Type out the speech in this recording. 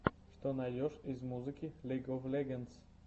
что найдешь из музыки лиг оф легендс